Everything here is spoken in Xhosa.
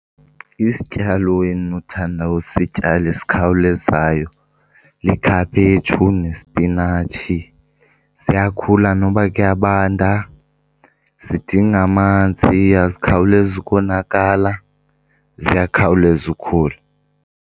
Isityalo endinothanda usityala esikhawulezayo likhaphetshu nesipinatshi. Ziyakhula noba kuyabanda, zidinga amanzi, azikhawulezi ukonakala, ziyakhawuleza ukhula.